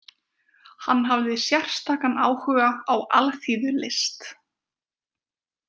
Hann hafði sérstakan áhuga á alþýðulist.